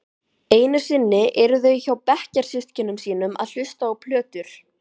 Einusinni eru þau hjá bekkjarsystkinum sínum að hlusta á plötur.